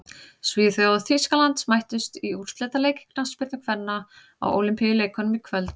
Svíþjóð og Þýskaland mættust í úrslitaleik í knattspyrnu kvenna á Ólympíuleikunum í kvöld.